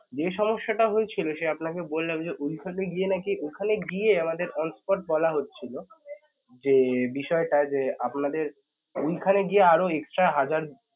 যে সমস্যাটা হয়েছিল সে আপনাকে বললাম যে ওইখানে গিয়ে নাকি ওখানে গিয়ে আমাদের onspot বলা হচ্ছিল যে বিষয়টা যে আপনাদের ওইখানে গিয়ে আরও extra হাজার